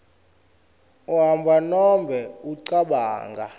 uhamba nobe ucabanga